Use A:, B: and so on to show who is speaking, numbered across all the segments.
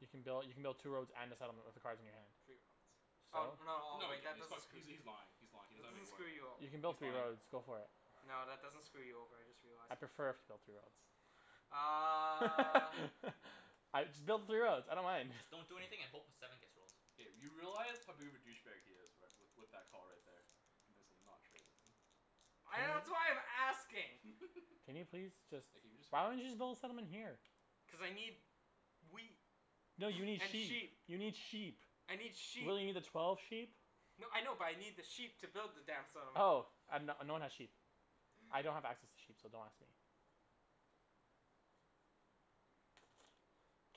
A: You can build, you can build two roads and a settlement with the cards in your hand.
B: Three roads. Oh
A: So?
B: no, oh
C: No he
B: wait,
C: can't,
B: that
C: he's fuck-
B: doesn't , screw
C: he's he's lying, he's lying, he
B: That
C: doesn't have
B: doesn't
C: any wood.
B: screw you o-
A: You can
C: He's
A: build three
C: lying.
A: roads. Go for it.
B: No, that doesn't screw you over, I just realized.
A: I'd prefer if you built three
B: Uh
A: roads. I, just build the three roads, I don't mind.
D: Just don't do anything a hope a seven gets rolled.
C: K, you realize how big of a douche bag he is right, with with that call right there. You may as well not trade with him.
B: I, that's why I'm asking.
A: Can you please just,
C: Like can you just hurry
A: why don't you
C: up?
A: just build a settlement here?
B: Cuz I need wheat
A: No you need
B: and sheep
A: sheep. You need sheep.
B: I need sheep.
A: Will you need a twelve sheep?
B: No, I know but I need the sheep to build the damn settlement.
A: Oh. I have, no no one has sheep. I don't have access to sheep so don't ask me.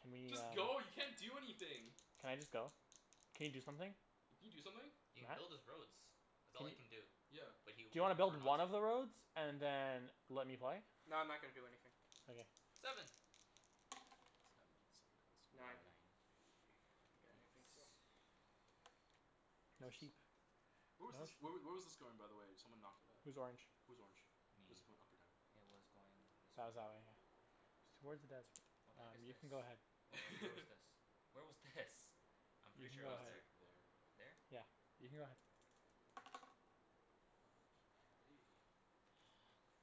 A: Can we
C: Just
A: uh
C: go, you can't do anything.
A: Can I just go? Can you do something?
C: Can you do something?
D: He can build
A: Matt?
D: his roads. That's all he can do. B-
C: Yeah.
D: but he
A: Do
D: would
A: you wanna build
D: prefer
A: one
D: not to.
A: of the roads and then let me play?
B: No, I'm not gonna do anything.
A: Okay.
D: Seven.
C: Sand bun some of the cards.
B: Nine.
C: Nine.
D: Nine.
B: Okay, I think so.
A: No sheep.
C: Where was
A: No
C: this, where w-
A: sheep.
C: where was this going by the way? Someone knocked it up.
A: Who's orange?
C: Who's orange?
D: Me.
C: Was it going up or down?
D: It was going this way.
A: That was that way, yeah. Towards the desert.
D: What the heck
A: Um,
D: is
A: you
D: this?
A: can go
D: Where
A: ahead.
D: wa- where was this? Where was this? I'm
A: You
D: pretty
A: can
D: sure
A: go
D: it
C: Oh
D: was
C: it's
A: ahead.
D: there.
C: like there.
D: There?
A: Yeah. You can go ahead.
C: Hey.
A: Fuck.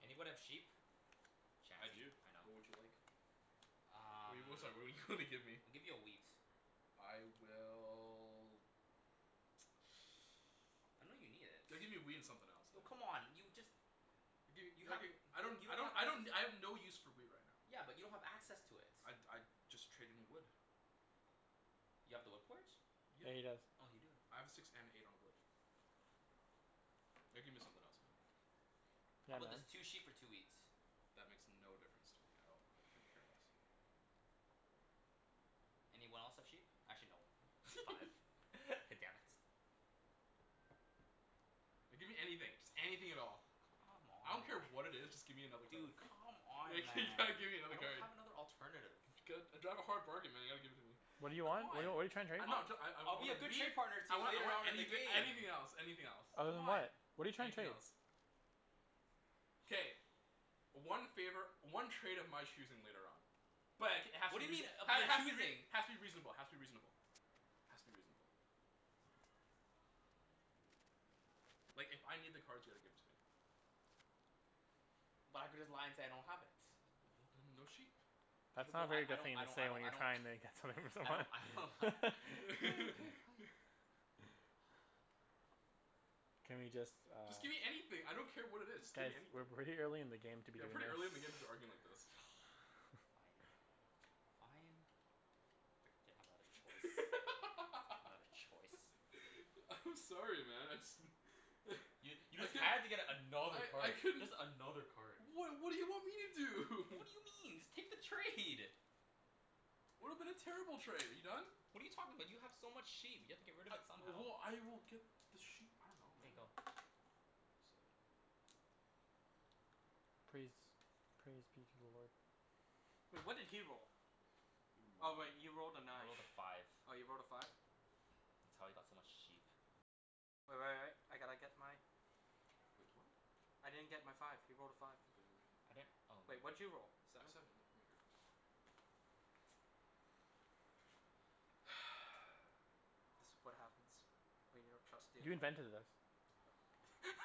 D: Anybody have sheep?
C: I
D: Chancey.
C: do,
D: I know.
C: what would you like? What do
D: Um
C: you, sorry what do you wanna give me?
D: I'll give you a wheat.
C: I will
D: I know you need it.
C: Gotta give me a wheat and something else
D: Oh
C: man.
D: come on. You just
C: Dude
D: You have w-
C: okay, I
D: y-
C: don't
D: you
C: I
D: don't
C: don't
D: have
C: I
D: access
C: don't, I have no use for wheat right now.
D: Yeah, but you don't have access to it.
C: I'd I'd just trade in wood.
D: You have the wood port?
C: Yeah.
A: Yeah, he does.
D: Oh you do.
C: I have a six and an eight on a wood. Gotta give me something else man.
A: Yeah
D: How 'bout
A: man.
D: this? Two sheep for two wheat.
C: That makes no difference to me at all. I couldn't care less.
D: Anyone else have sheep? Actually no, five. Damn it.
C: No, give me anything, just anything at all.
D: Come
C: I
D: on
C: don't
D: man.
C: care what it is, just give me another card.
D: Dude, come on
C: Like
D: man,
C: you gotta give me
D: I
C: another
D: don't
C: card.
D: have another alternative.
C: I drive a hard bargain man you gotta give it to me.
A: What do you want? What're you,
D: C'mon.
A: what are you tryin' to trade?
C: No
D: I'm,
C: I'm try- I I I
D: I'll be
C: want
D: a
C: a
D: good
C: wheat.
D: trade partner to
C: I
D: you
C: want I
D: later
C: want
D: on in the
C: anything
D: game.
C: anything else anything else.
A: Other
D: Come
A: than
D: on.
A: that, what're you trying to
C: Anything
A: trade?
C: else. K. One favor, one trade of my choosing later on. But it k- it has
D: What
C: to be
D: do you mean
C: reaso-
D: of
C: ha-
D: your
C: has to be rea-
D: choosing?
C: has to be reasonable has to be reasonable. Has to be reasonable. Like if I need the cards you gotta give it to me.
D: But I could just lie and say I don't have it.
C: Well then no sheep.
A: That's not a
D: Well, I
A: very
D: I
A: good
D: don't
A: thing
D: I
A: to
D: don't
A: say when
D: I
A: you're
D: don't
A: trying to get something from
D: I don't I don't ha-
A: someone
D: K, okay fine.
A: Can we just uh
C: Just give me anything, I don't care what it is, just
A: Guys,
C: gimme
A: we're
C: anything.
A: way early in the game to be
C: Yeah,
A: doing this
C: pretty early in the game to be arguing like this.
D: Fine. fine. Frickin' didn't have another choice. Another choice.
C: I'm sorry man, I just
D: You you
C: I
D: just
C: could
D: had to get another
C: I I
D: card.
C: couldn't
D: Just another card.
C: What what do you want me to do?
D: What do you mean? Just take the trade.
C: Would've been a terrible trade. Are you done?
D: What are you talking about? You have so much sheep. You have to get rid of it somehow.
C: Well, I will get the sheep, I dunno
D: K,
C: man.
D: go.
C: Seven.
A: Praise. Praise be to the lord.
B: Wait, what did he roll? Oh wait, he
C: You're a moron.
B: rolled a
D: I
B: nine.
D: rolled a five.
B: Oh you rolled a five?
D: That's how he got so much sheep.
C: Wait what?
B: I didn't get my five. He rolled a five.
C: Okay then
D: I
C: I'm right here.
D: didn't oh
B: Wait, what did you roll?
C: A
B: Seven?
C: seven, here, give me a card.
B: This what happens when you don't trust the
A: You
B: opponent.
A: invented this.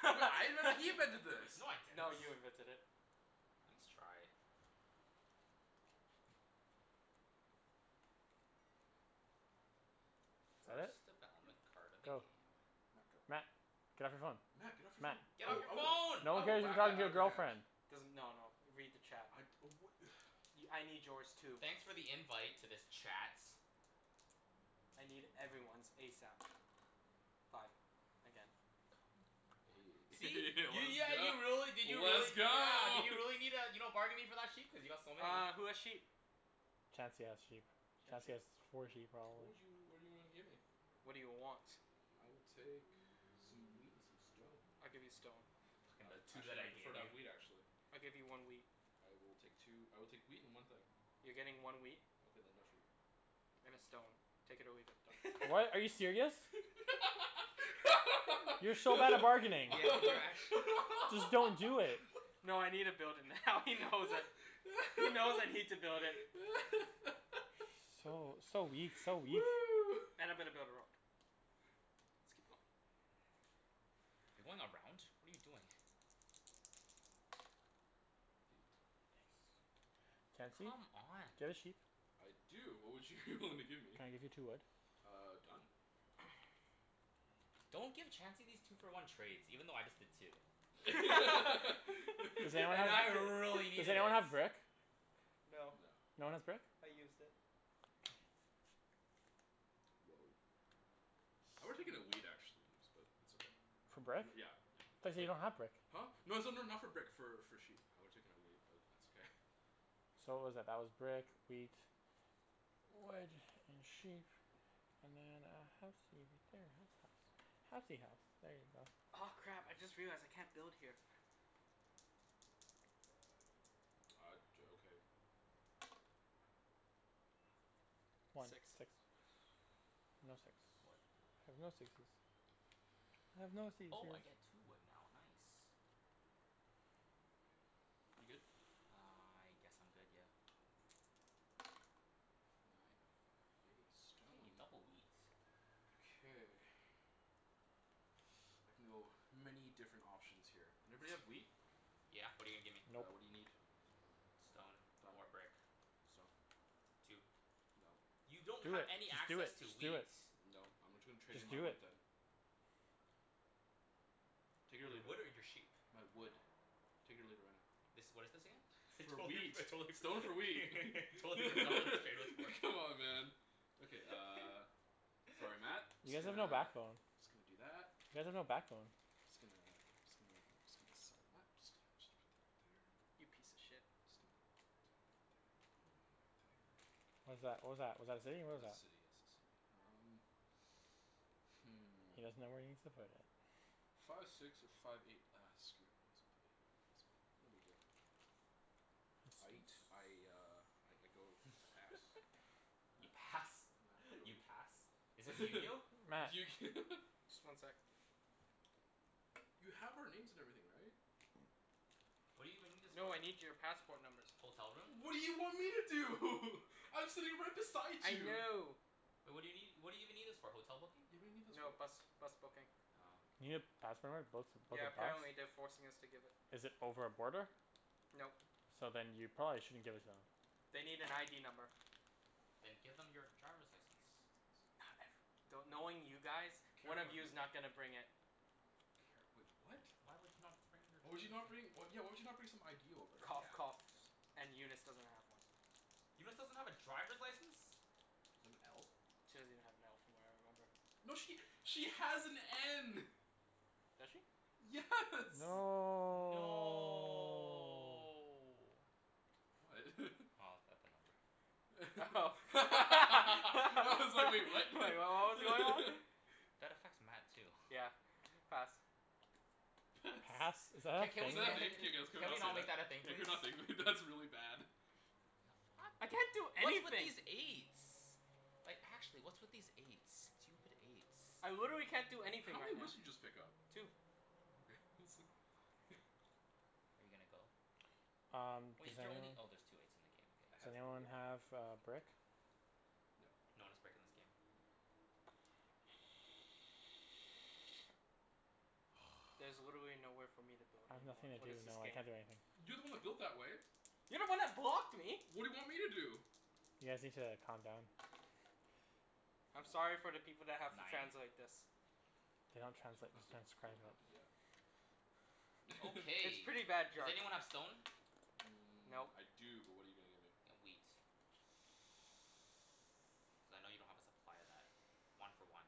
C: What, I invented, he invented this.
D: No I didn't.
B: No, you invented it.
D: Nice try.
A: Fret?
D: First development
C: Yep.
D: card of the
A: Go.
D: game.
C: Matt, go.
A: Matt. Get off your phone.
C: Matt get off your
A: Matt.
C: phone. I
D: Get off
C: will
D: your
C: I will
D: phone.
A: No
C: I
A: one
C: will
A: cares you're
C: whack that
A: talking to
C: out of
A: your
C: your hand.
A: girlfriend.
B: Doesn- no no, read the chat.
C: I'd oh wha-
B: Y- I need yours too.
D: Thanks for the invite to this chat.
B: I need everyone's ASAP. Five. Again.
C: Let's
D: See? You, yeah
C: go,
D: you really, did you really
C: let's
D: yeah,
C: go
D: did you need uh you're not bargaining for that sheep? Cuz you got so many.
B: Uh, who has sheep?
A: Chancey has sheep. Chancey
B: Chancey?
A: has four sheep
C: What
A: probably.
C: would you, what do you wanna give me?
B: What do you want?
C: I will take some wheat and some stone.
B: I'll give you stone.
D: Fuckin'
C: Uh
D: the two that
C: actually
D: I
C: I'd
D: gave
C: prefer to have wheat
D: you.
C: actually.
B: I'll give you one wheat.
C: I will take two, I will take wheat and one thing.
B: You're getting one wheat.
C: Okay then no sheep.
B: And a stone. Take it or leave it.
C: Done.
A: What, are you serious? You're so bad at bargaining.
D: Yeah, you're actu-
A: Just don't do it.
B: No I needa build it now he knows it. He knows I need to build it.
A: So, so weak, so weak.
B: And I'm gonna build a road. Let's keep going.
D: You're going around? What are you doing?
C: Eight.
A: Chancey? Do you
D: Come on.
A: have a sheep?
C: I do. What would you wanna give me?
A: Can I give you two wood?
C: Uh done.
D: Don't give Chancey these two for one trades, even though I just did too.
A: Does
D: Cuz
A: anyone
B: And
A: have
B: I
D: I really
A: a, does
D: needed it.
A: anyone have brick?
C: No.
B: No,
A: No one has brick?
B: I used it.
C: Whoa. I would've taken a wheat actually, but it's okay.
A: For brick? I
C: Yeah, yeah.
A: thought you said you don't have brick.
C: Huh? No it's not not for brick for for sheep, I would have taken a wheat but it's okay.
A: So what was that? That was brick, wheat. Wood and sheep. And then a housey right there. Housey house. Housey house. There you go.
B: Aw crap, I just realized I can't build here.
C: Uh d- okay.
A: One.
B: Six.
A: Six. No six.
D: Wood.
A: I have no sixes. I have no
D: Oh I
A: seizures.
D: get two wood now, nice.
C: You good?
D: I guess I'm good, yeah.
C: Nine, hey,
D: Hey,
C: stone.
D: double wheat.
C: Okay. I can go many different options here. Everybody have wheat?
D: Yeah, what're you gonna give me?
C: Uh what do you
A: Nope.
C: need?
D: Stone
C: Done.
D: or brick.
C: Stone.
D: Two.
C: Nope.
D: You
A: Do it,
D: don't have any
A: just do it,
D: access to
A: just do
D: wheat.
A: it.
C: Nope, I'm gonna tra- trade in
A: Just
C: my
A: do
C: wood
A: it.
C: then. Take it or
D: Your
C: leave it.
D: wood or your sheep?
C: My wood. Take it or leave it right now.
D: This, what is this again? I
C: For
D: totally forg-
C: wheat. Stone for wheat
D: I totally forgot what this trade was for.
C: Come on man. Okay uh, sorry Matt,
A: You
C: Just
A: guys have
C: gonna,
A: no
C: just
A: backbone.
C: gonna do that.
A: You guys have no backbone.
C: Just gonna just gonna just gonna, sorry Matt, just gonna put that right there.
B: You piece of shit.
C: Just gonna do it right there right there.
A: What is that? What was that? Was that a city? What
C: That's
A: was
C: a
A: that?
C: city, yes, a city. Um Hmm.
A: He doesn't know where he needs to put it.
C: Five six or five eight, ah screw it, I guess I'ma put it here. Guess I'm gonna, no big deal. Aight. I uh I go, I pass.
D: You
C: Matt,
D: pass?
C: Matt go,
D: You pass? Is this
C: your
A: Matt.
C: turn
B: Just one sec.
C: You have our names and everything right?
D: What do you even need this for?
B: No, I need your passport numbers.
D: Hotel room?
C: What do you want me to do? I'm sitting right beside
B: I
C: you.
B: know.
D: Wai- what do you nee- what do you even need this for? Hotel booking?
C: Yeah, what do you need this
B: No,
C: for?
B: bus bus booking.
D: Oh.
A: You need a passport number to book, book
B: Yeah,
A: a bus?
B: apparently they're forcing us to give it.
A: Is it over a border?
B: Nope.
A: So then you probably shouldn't give it to them.
B: They need an ID number.
D: Then give them your driver's license.
B: Not ever- do- knowing you guys,
C: Care
B: one of
C: card
B: you's not
C: number.
B: gonna bring it.
C: Care, wait what?
D: Why would you not bring your
C: Why would you not
D: driver's li-
C: bring, yeah why would you not bring some ID over?
B: Cough
D: Yeah.
B: coughs and Eunice doesn't have one.
D: Eunice doesn't have a driver's license?
C: She doesn't have an L?
B: She doesn't even have an L from what I remember.
C: No she, she has an N.
B: Does she?
C: Yes.
B: Hmm.
A: No
D: No
C: What?
D: Oh, that number.
B: Oh
C: I
B: Like
C: was like "wait, what?"
B: what was going on?
D: That affects Matt too.
B: Yeah, pass.
C: Pass.
A: Pass? Is
C: Is that a
A: that
D: Ca-
C: thing? Can
D: can we ca-
C: we
A: a
C: not, can we
D: Can
C: not
D: we
C: say
D: not make that
C: that?
D: a thing
C: Yeah
D: please?
C: can we not? That's really bad.
B: I can't do
D: What's with
B: anything.
D: these eights? Like actually, what's with these eights? Stupid eights.
B: I literally can't do anything
C: How
B: right
C: many
B: now.
C: woods did you just pick up?
B: Two.
C: Oh okay, I was like
D: Are you gonna go?
A: Um,
D: Wait,
A: does
D: is there only,
A: anyone
D: oh there's two eights in the game.
C: I
A: Does
C: has the
A: anyone have
D: K,
A: a brick?
C: No.
D: No one has brick in this game.
C: Nope.
B: There's literally nowhere for me to build
A: I have
B: anymore.
A: nothing to
B: What
A: do.
B: is
A: No,
B: this
A: I
B: game?
A: can't do anything.
C: You're the one that built that way.
B: You're the one that blocked me.
C: What do you want me to do?
A: You guys need to calm down.
B: I'm sorry for the people that have to
D: Nine?
B: translate this.
A: They don't
C: You
A: translate.
C: don't have
A: Just
C: to you
A: transcribe
C: don't
A: it.
C: have to, yeah.
B: It's
D: Okay,
B: pretty bad
D: does
B: jerk.
D: anyone have stone?
C: Mmm,
B: Nope.
C: I do but what're you gonna give me?
D: Y- wheat. Cuz I know you don't have a supply of that. One for one.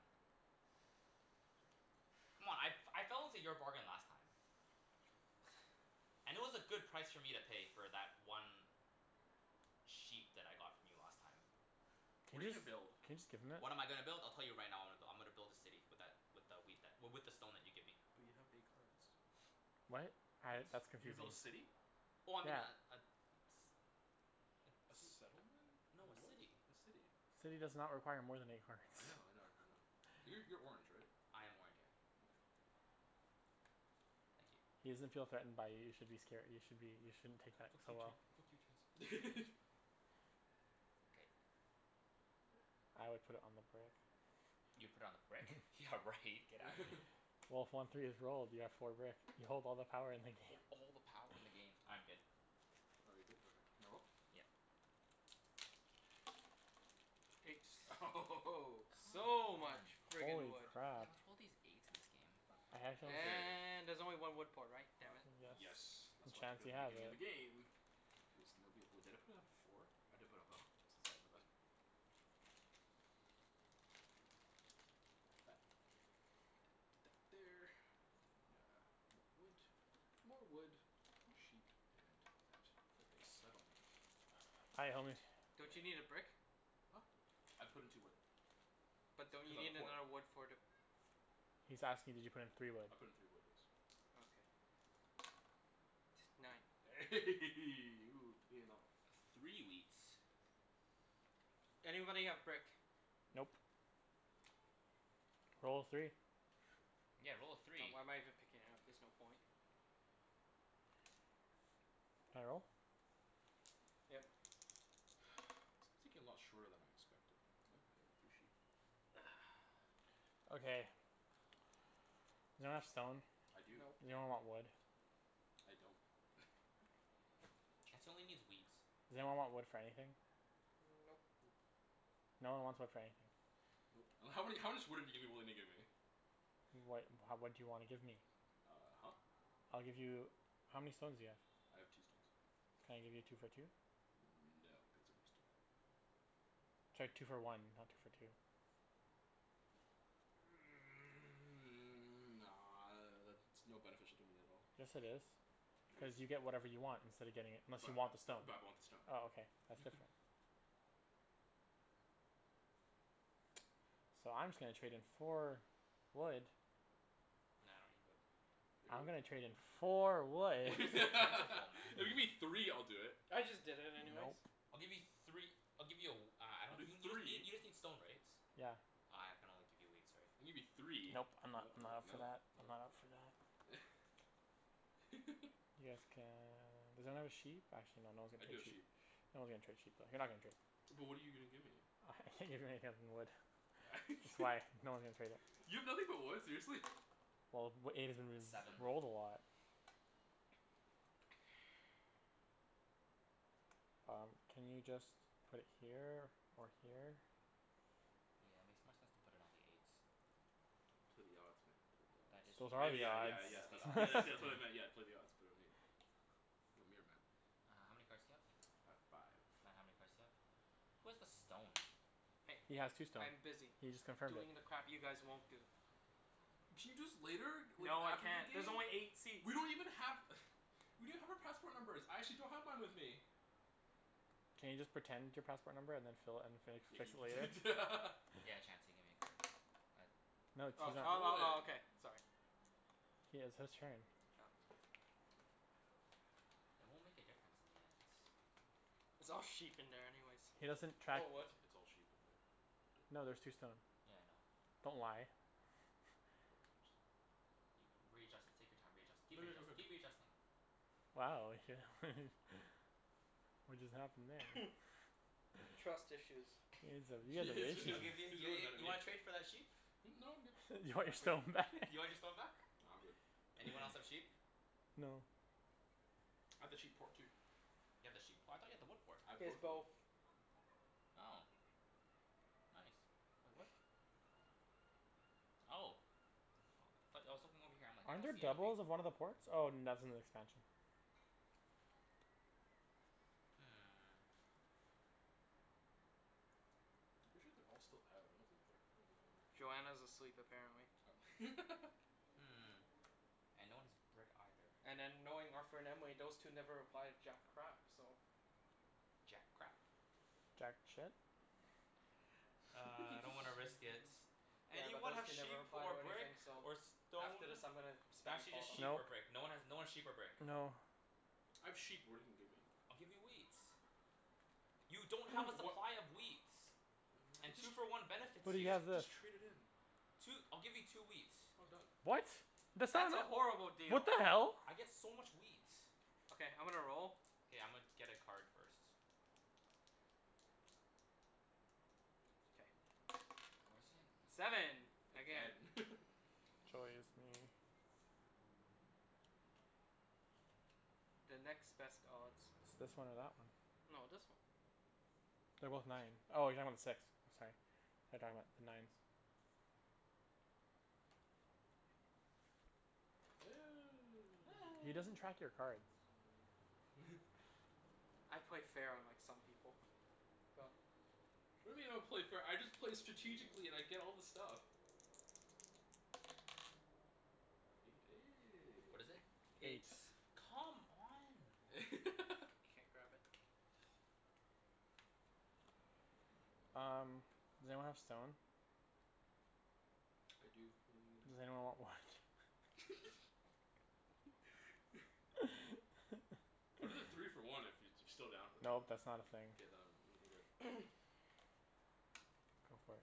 D: C'mon, I f- I fell into your bargain last time. And it was a good price for me to pay for that one sheep that I got from you last time.
A: Can
C: What are you
A: you just,
C: gonna build?
A: can you just give him it?
D: What am I gonna build? I'll tell you right now I'm go- I'm gonna build a city with that, with a wheat that w- with the stone that you give me.
C: But you have eight cards.
A: What? Uh that's
D: What?
C: You're gonna
A: confusing.
C: build a city?
D: Oh I mean a
A: Yeah.
D: a s-
C: A
D: a ci-
C: settlement?
D: no a
C: What?
D: city.
C: A city.
A: City does not require more than eight cards
C: I know I know I know. Uh
D: Yeah.
C: you're you're orange right?
D: I am orange, yeah.
C: Okay, I'm out.
D: Thank you.
A: He doesn't feel threatened by you, you should be scare- you should be, you shouldn't take that
D: Fuck
A: so
D: you Chan-
A: well.
D: fuck you Chancey. K.
A: I would put it on the brick.
D: You put on the brick? Yeah right, get out of here.
A: Well, if one three is rolled you have four brick. You hold all the power in the
D: Hold
A: game.
D: all the power in the game. I'm good.
C: Oh you're good? Okay, can I roll?
D: Yeah.
B: Eight.
C: Eight
D: Come
B: So much
D: on. Yeah
B: friggin'
A: Holy
B: wood.
A: crap.
D: what's with all these eights in this game?
A: A handshake.
C: Okay.
B: And there's only one wood port, right?
C: Uh
B: Damn it.
C: yes,
A: Yes and
C: that's why I took it at
A: Chancey
C: the
A: has
C: beginning of the
A: it.
C: game. Because nobody, wait, did I put down four? I did put down f- sorry my bad. Um so that's that. And put that there. And then uh more wood, more wood, sheep and that for a settlement.
A: Hi, homie.
C: And
B: Don't you
C: that
B: need a brick?
C: Huh? I put in two wood.
B: But don't
C: Cuz
B: you
C: I have
B: need
C: a port.
B: another wood for the
A: He's asking did you put in three wood?
C: I put in three wood, yes.
B: Okay. Nine.
C: Ooh, payin' off.
D: A three wheat.
B: Anybody have brick?
A: Nope.
C: Nope.
A: Roll a three.
D: Yeah, roll a
B: Oh,
D: three.
B: why am I even picking it up? There's no point.
A: Can I roll?
B: Yep.
C: This game's taking a lot shorter than I expected, you know? Hey, three sheep.
A: Okay. Does anyone have stone?
C: I do.
B: Nope.
A: Does anyone want wood?
C: I don't.
D: Chancey only needs wheat.
A: Does anyone want wood for anything?
B: Nope.
C: Nope.
A: No one wants wood for anything.
C: Nope. And how many, how much wood are you giving, willing to give me?
A: What, ha- what do you wanna give me?
C: Uh huh.
A: I'll give you, how many stones do you have?
C: I have two stones.
A: Can I give you two for two?
C: No, because I just did that.
A: Sorry, two for one, not two for two.
C: Nah, that's no beneficial to me at all.
A: Yes it is,
C: No
A: cuz you get
C: dude.
A: whatever you want instead of getting it, unless you
C: But uh
A: want the stone.
C: bu- but I want the stone
A: Oh okay, that's different. So I'm just gonna trade in four wood
D: No, I don't need wood.
C: If you're
A: I'm
C: go-
A: gonna trade in four wood.
D: Wood
C: If
D: is so plentiful man.
C: you give me three I'll do it.
B: I just did it anyways.
A: Nope.
D: I'll give you three I'll give you a w- uh I
C: I'll
D: don-
C: do
D: y- you just need,
C: three.
D: you just need stone right?
A: Yeah.
D: Uh I can only give you wheat, sorry.
C: Gimme three. No
A: Nope. I'm not,
C: no
A: I'm not up for
C: no
A: that, I'm
C: no.
A: not up for that. Yes can, does anyone have a sheep? Actually no, no one's
C: I
A: gonna
C: do
A: trade
C: have sheep.
A: sheep. No one's gonna trade sheep though, you're not gonna trade.
C: But what're you gonna give me?
A: I can't give you anything other than wood. That's why no one's gonna trade it.
C: You have nothing but wood, seriously?
A: Well, w- eight has been ris-
C: Seven.
D: Seven
A: rolled a lot. Um, can you just put it here or here?
D: Yeah, makes more sense to put it on the eight.
C: Play the odds man, play the odds.
D: That is the
A: So those are
C: I
D: odds.
C: mea-
A: the
C: yeah
D: Yeah,
C: yeah
D: that is
C: yeah,
D: the
C: that's
D: odds.
C: wha-
A: odds.
C: that's what I meant, yeah, play the odds, put it on eight. Want me or Matt?
D: Uh how many cards do you have?
C: I have five.
D: Matt, how many cards do you have? Who has the stone?
B: Hey,
A: He has two stone.
B: I'm busy
A: He just confirmed it.
B: doing the crap you guys won't do.
C: Can you do this later? W-
B: No, I
C: after the
B: can't.
C: game?
B: There's only eight seats.
C: We don't even have We don't have our passport numbers. I actually don't have mine with me.
A: Can you just pretend your passport number and then just fill it, and fill,
C: Yeah can
A: fix it later?
C: you prete-
D: Yeah, Chancey, give me a card. Uh
A: No
B: Uh
A: t-
C: Why
A: he's
B: oh
C: would you
A: not.
C: roll
B: oh
C: it?
B: oh okay, sorry.
A: He has his turn.
D: It won't make a difference in the end.
B: It's all sheep in there anyways.
A: He
C: It's like,
A: doesn't
C: it's
A: track
B: Or wood.
C: it's it's all sheep in there.
A: No there's two stone.
D: Yeah, I know.
A: Don't lie.
C: No I'm just
D: You can, readjust it, take your time readjust- keep readjust- keep readjusting.
A: Wow What just happened there?
B: Trust issues.
A: You guys have, you guys
C: Yeah
A: have
C: he's
A: issues.
D: I'll
C: really,
D: give in
C: he's
D: yeah
C: really
D: yeah
C: mad at
D: you
C: me.
D: wanna trade for that sheep?
C: Hmm? No, I'm good.
A: You
D: You
A: want
D: wanna
A: your
D: trade?
A: stone back?
D: You wanna get stone back?
C: Nah, I'm good.
D: Anyone else have sheep?
C: No.
A: No.
C: I have the sheep port too.
D: You have the sheep p- I thought you had the wood port?
C: I have
B: He has
C: both
B: both.
C: now.
D: Oh nice. Wait what? Oh. Aw but I was looking over here I'm like "I
A: Aren't
D: don't
A: there
D: see anything."
A: doubles of one of the ports? Oh that's in the expansion.
D: Hmm.
C: I'm pretty sure they're all still out. I don't think they're gonna be home right now.
B: Joanna's asleep apparently.
C: Oh
D: Hmm, and no one has brick either.
B: And then knowing Arthur and Emily, those two never reply to jack crap so.
D: Jack crap.
A: Jack shit?
D: Uh I don't wanna risk it.
B: Yeah, but
D: Anyone
B: those
D: have
B: two never
D: sheep
B: reply
D: or
B: to
D: brick
B: anything so
D: or
B: after this
D: stone?
B: I'm gonna
D: N-
B: spam
D: actually
B: call
D: just
B: them.
D: sheep or
A: Nope.
D: brick. No one has, no one's sheep or brick.
A: No.
C: I have sheep, but what're you gonna give me?
D: I'll give you wheat. You don't have a
C: Wha-
D: supply of wheat.
C: I could
D: And
C: just,
D: two for one benefits
C: I
A: But he
C: could
D: you.
C: jus-
A: has this.
C: just trade it in.
D: Two, I'll give you two wheat.
C: Oh done.
A: What? That's not
B: That's a
A: eno-
B: horrible
A: What
B: deal.
A: the hell?
D: I get so much wheat.
B: Okay, I'm gonna roll.
D: K, I'ma get a card first.
B: K.
D: Fours in.
B: Seven, again.
C: Again
A: Joy is me.
B: The next best odds.
A: It's this one or that one.
B: No, this one.
A: They're
C: The
A: both
C: last
A: nine.
C: turn.
A: Oh you're talking about the six, sorry. Thought you're talking about the nines. He doesn't track your cards.
B: I play fair, unlike some people. Go.
C: What do you mean I don't play fair? I just play strategically and I get all the stuff.
D: What is it?
A: Eight.
B: Eight.
D: Come on, man.
B: Can't grab it.
A: Um, does anyone have stone?
C: I do, what are you gonna give
A: Does
C: me?
A: anyone want wood?
C: I'll do the three for one if you're still down for that.
A: Nope, that's not a thing.
C: K, then I'm good.
A: Go for it.